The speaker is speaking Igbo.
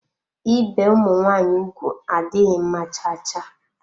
Ibe ụmụ nwaanyị ụgwụ adịghị mma cha cha.